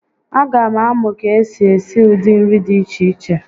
A ga m amụ ka esi esi ụdị nri dị iche iche